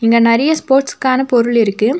இங்க நெறைய ஸ்போர்ட்ஸ்ஸுகான பொருள் இருக்கு.